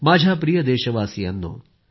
माझ्या प्रिय देशवासियांनो